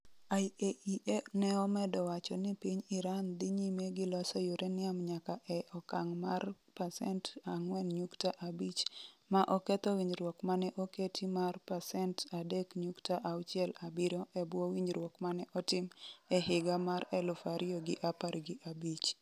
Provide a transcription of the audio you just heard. IAEA ne omedo wacho ni piny Iran dhi nyime gi loso uranium nyaka e okang' mar 4.5% - ma oketho winjruok mane oketi mar 3.67% e bwo winjruok mane otim e higa mar 2015.